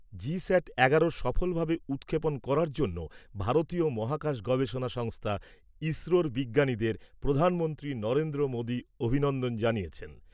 GSAT এগারোর সফলভাবে উৎক্ষেপণ করার জন্য ভারতীয় মহাকাশ গবেষণা সংস্থা ইসরোর বিজ্ঞানীদের প্রধানমন্ত্রী নরেন্দ্র মোদী অভিনন্দন জানিয়েছেন।